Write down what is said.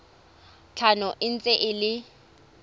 tlhano e ntse e le